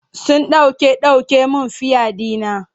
Sun ɗauke ɗauke min fiya ɗina.